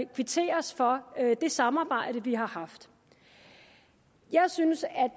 kvitteres for det samarbejde vi har haft jeg synes at